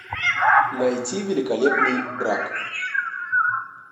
найти великолепный брак